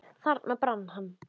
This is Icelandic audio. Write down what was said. Þarna brann hann.